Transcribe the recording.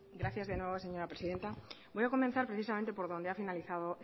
gracias de nuevo señora presidenta voy a comenzar precisamente por donde ha finalizado